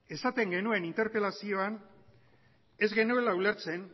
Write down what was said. esaten genuen interpelazioan ez genuela ulertzen